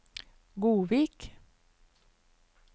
Godvik